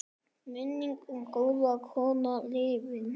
Minning um góða konu lifir.